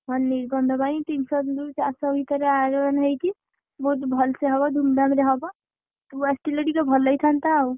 ହଁ ନିର୍ବନ୍ଧ ପାଇଁ ତିନିଶହ ରୁ ଚାରିଶହ ଭିତରେ ଆୟୋଜନ ହେଇଚି ବହୁତ ଭଲସେ ହବ, ଧୁମଧାମରେ ହ ତୁ ଆସିଥିଲେ ଟିକେ ଭଲ ହେଇଥାନ୍ତା ଆଉ।